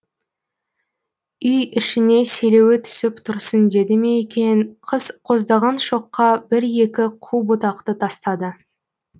үй ішіне селеуі түсіп тұрсын деді ме екен қыз қоздаған шоққа бір екі қу бұтақты тастады